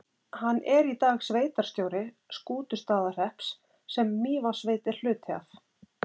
Hann er í dag sveitarstjóri Skútustaðahrepps, sem Mývatnssveit er hluti af.